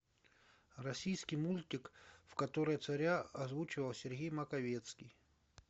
российский мультик в котором царя озвучивал сергей маковецкий